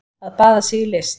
Að baða sig í list